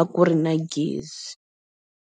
a ku ri na gezi.